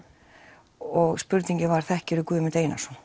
og spurningin var þekkir þú Guðmund Einarsson